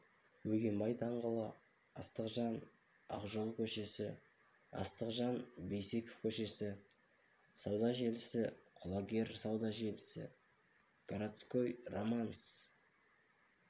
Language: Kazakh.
бөгенбай даңғылы астықжан ақжол көшесі астықжан бейсеков көшесі сауда желісі құлагер сауда желісі городской романс